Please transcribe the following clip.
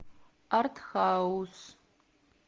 артхаус